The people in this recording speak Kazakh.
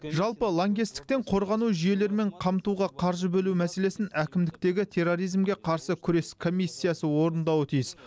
жалпы лаңкестіктен қорғану жүйелерімен қамтуға қаржы бөлу мәселесін әкімдіктегі терроризмге қарсы күрес комиссиясы орындауы тиіс